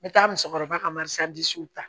N bɛ taa musokɔrɔba ka mariso ta